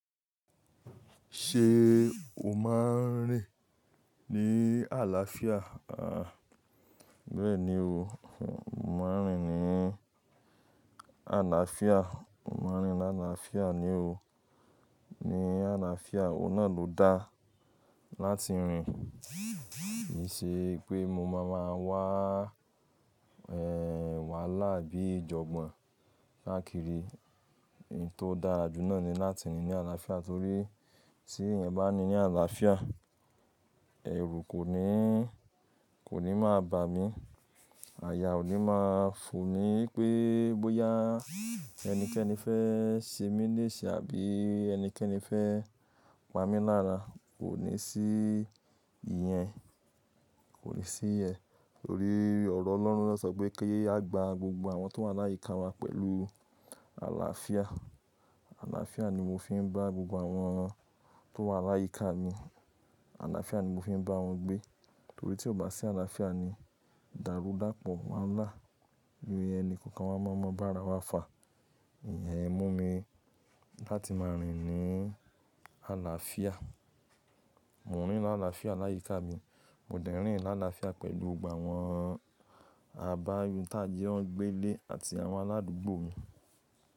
Ṣé o máa ń rìn ní àlàáfíà? Aà, bẹ́ẹ̀ni o. Mo máa ń rìn ní àlàáfíà. Mo máa ń rìn ní àlàáfíà ni o. Ní àlàáfíà, òun náà ló dá láti rìn. Kì í ṣe pé mo máa máa wahàlá àbí ìjọ̀gbọ̀n káàkiri. Ohun tó dára jù náà ni láti rìn ní àlàáfíà torí tí èèyàn bá ní ní àlàáfíà, ẹrù kò ní, kò ní máa bà mí. Àyà ò ní máa fò ní pé bóyá ẹnikẹ́ni fẹ́ ṣe mí léṣeì àbí ẹnikẹ́ni fẹ́ pa mí lára, kò ní sí ìyẹn. Kò ní sí ìyẹn torí ọ̀rọ̀ Ọlọ́run lọ sọ pé kí a gba gbogbo àwọn tó wà láyíká wa pẹ̀lú àlàáfíà. Àlàáfíà ni mo fi ń bá gbogbo àwọn tó wà láyíká mi. Àlàáfíà ni mo fi ń bá wọn gbé torí tí ó bá sí àlàáfíà ni, dàrúdàpọ̀ wáhalà. Ni ẹni, kòkan wa máa mọ bá ara wa fà. Ìyẹn mú mi láti máa rìn ní àlàáfíà. Mò ń rìn ní àlàáfíà láyíká mi. Mo dẹ̀ ń rìn ní àlàáfíà pẹ̀lú gbogbo àwọn àbáyọ̀ tájẹ́ wọ́n gbé le àti àwọn aládùúgbò mi.